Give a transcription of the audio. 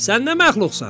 Sən nə məxluqsan?